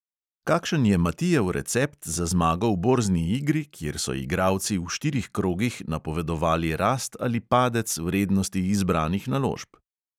Kakšen je matijev recept za zmago v borzni igri, kjer so igralci v štirih krogih napovedovali rast ali padec vrednosti izbranih naložb?